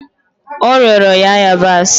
O rịọrọ ya ịyabasị